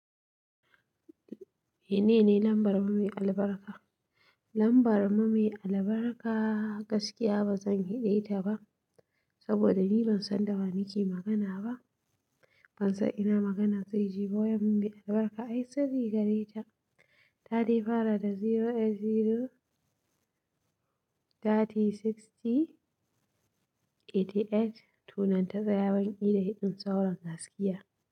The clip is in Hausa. Menene lambar me albarka? Lambar mu me albarka gaskiya ba zan heɗe ta ba saboda ni ban san da wa muke magana ba. Ban san ina magana zai je ba, me albarka ai tsari gare ta. Ta dai fara da zero eight zero thirty sixty eighty eight. To nan ta saya banki da hidin sauron gaskiya.